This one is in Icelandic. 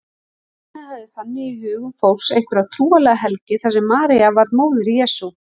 Nafnið hafði þannig í hugum fólks einhverja trúarlega helgi þar sem María var móðir Jesú.